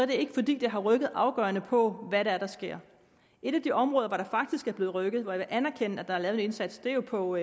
det ikke fordi det har rykket afgørende på hvad det er der sker et af de områder hvor der faktisk er blevet rykket hvor jeg vil anerkende at der er lavet en indsats er på